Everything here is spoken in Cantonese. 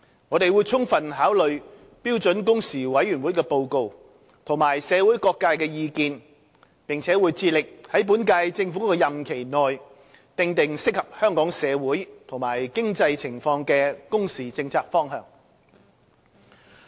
我們會充分考慮標準工時委員會的報告及社會各界的意見，並會致力在本屆政府的任期內訂定適合香港社會和經濟情況的工時政策方向。